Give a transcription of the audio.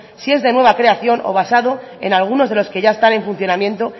si es de nueva creación o basado en alguno de los que ya están en funcionamiento